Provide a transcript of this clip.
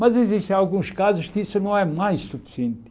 Mas existem alguns casos que isso não é mais suficiente.